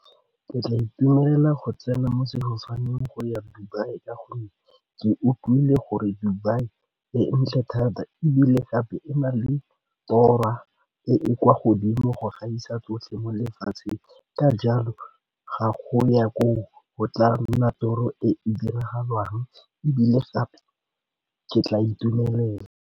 Ke tla itumelela go tsena mo sefofaneng go ya Dubai ka gonne ke utlwile gore Dubai e ntle thata ebile gape e na le e e kwa godimo go gaisa tsotlhe mo lefatsheng ka jalo ga go ya koo go tla nna toro e e diragalang ebile gape ke tla itumelela.